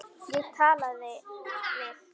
Ég talaði við